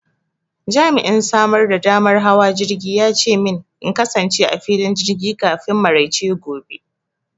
Jami'in samar da damar hawa jirgi ya ce min in kasance a filin jirgi kafin maraice gobe.